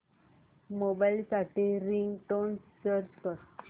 mobile साठी ringtone search कर